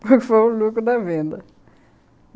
Foi o lucro da venda.